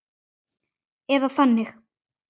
Eða þannig.